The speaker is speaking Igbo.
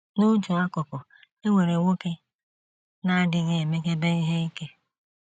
N’otu akụkụ, e nwere nwoke na - adịghị emekebe ihe ike.